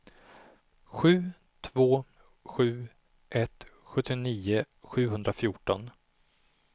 sju två sju ett sjuttionio sjuhundrafjorton